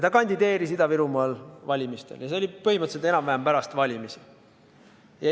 Ta kandideeris Ida-Virumaal valimistel ja see oli põhimõtteliselt enam-vähem pärast valimisi.